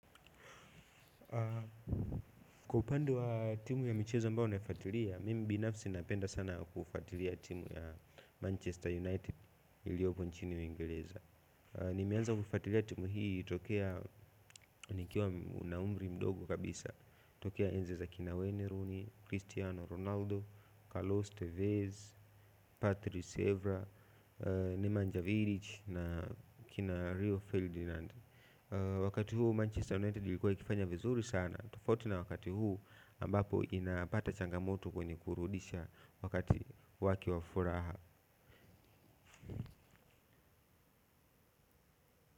Kwa upande wa timu ya michezo ambayo naifuatilia, mimi binafsi napenda sana kufuatilia timu ya Manchester United iliyopo nchini Uingereza. Nimeanza kufuatilia timu hii tokea nikiwa na umri mdogo kabisa tokea enzi za kina Wayne rooney, Cristiano Ronaldo, Carlos Tevez, Patrick Sevra, Nemanja Virich na kina Rio Ferdinand. Wakati huu Manchester United ilikuwa ikifanya vizuri sana. Tofauti na wakati huu ambapo inapata changamoto kwenye kurudisha wakati wake wa furaha.